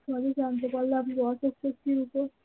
সবই জানতে পারলে আমি রহা কে খুঁজছি তো